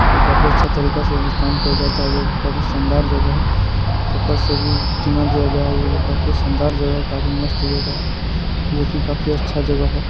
तो काफी अच्छा तरीका से यहाँ काम किया जाता है जो कि काफी शानदार जगह है ऊपर से भी चिनवा दिया गया है जो कि काफी शानदार जगह काफी मस्त जगह है जो कि काफी अच्छा जगह है।